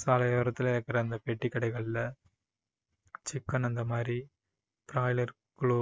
சாலை ஓரத்துல இருக்க அந்த பெட்டிக்கடைகளில chicken அந்த மாதிரி broiler க்லோ~